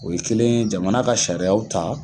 O ye kelen jamana ka sariyaw ta